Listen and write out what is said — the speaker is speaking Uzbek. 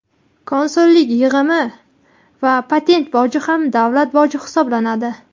Konsullik yig‘imi va patent boji ham davlat boji hisoblanadi.